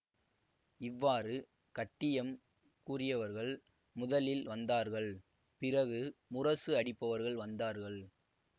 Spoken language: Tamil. இவ்வாறு கட்டியம் கூறியவர்கள் முதலில் வந்தார்கள் பிறகு முரசு அடிப்பவர்கள் வந்தார்கள்